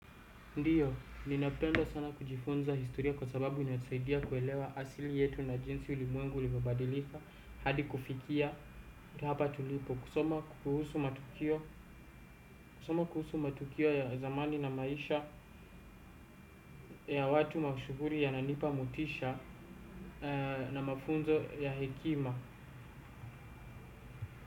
Ndiyo, ninapenda sana kujifunza historia kwa sababu inasaidia kuelewa asili yetu na jinsi ulimwengu ulivyobabadilika hadi kufikia, hapa tulipo, kusoma kuhusu matukio kusoma kuhusu matukio ya zamani na maisha ya watu mashuhuri yananipa motisha ee na mafunzo ya hekima.